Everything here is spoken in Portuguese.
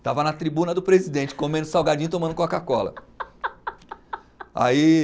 Estava na tribuna do presidente, comendo salgadinho e tomando Coca-Cola. Aí